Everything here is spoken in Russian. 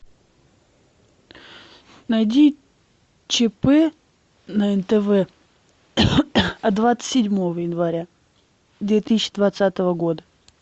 найди чп на нтв от двадцать седьмого января две тысячи двадцатого года